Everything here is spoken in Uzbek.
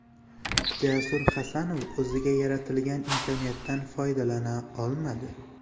Jasur Hasanov o‘ziga yaratilgan imkoniyatdan foydalana olmadi.